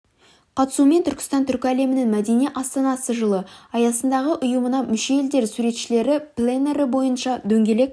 қатысуымен түркістан түркі әлемінің мәдени астанасы жылы аясындағы ұйымына мүше елдер суретшілері пленэрі бойынша дөңгелек